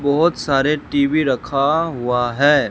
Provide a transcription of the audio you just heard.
बहोत सारे टी_वी रखा हुआ है।